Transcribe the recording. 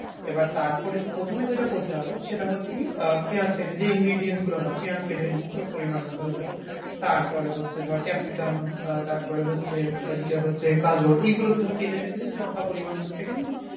এবার তারপরে প্রথমে যেটা করতে হবে সেটা হচ্ছে কি আহ পেয়াজ কেটে যে ingredients গুলো হয়। পেয়াজ কেটে নিলি তোর পরিমাণ মতো যতোটা। তারপরে হচ্ছে ধর capsicum আহ তারপরে হচ্ছে ওইদিকে হচ্ছে গাজর এই গুলোকে ধর কেটে টেটে লঙ্কা পরিমাণ মতো কেটে নিলি,